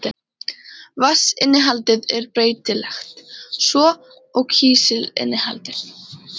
Vatnsinnihaldið er breytilegt, svo og kísilinnihaldið.